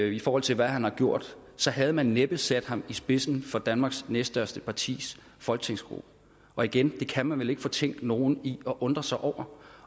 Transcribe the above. i forhold til hvad han har gjort så havde man næppe sat ham i spidsen for danmarks næststørste partis folketingsgruppe og igen det kan man vel ikke fortænke nogen i at undre sig over